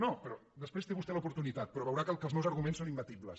no però després en té vostè l’oportunitat però veurà que els meus arguments són imbatibles